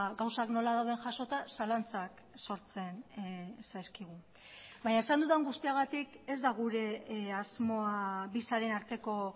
gauzak nola dauden jasota zalantzak sortzen zaizkigu baina esan dudan guztiagatik ez da gure asmoa bi sareen arteko